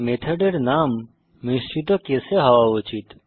মেথডের নাম মিশ্রিত কেসে হওয়া উচিত